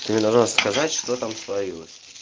ты мне должна сказать что там творилось